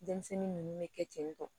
Denmisɛnnin ninnu bɛ kɛ ten tɔ